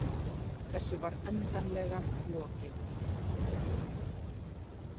Þessu var endanlega lokið.